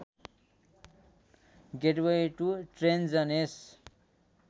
gateway to strangeness